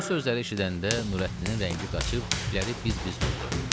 Bu sözləri eşidəndə Nurəddinin rəngi qaçıb tükləri biz-biz durdu.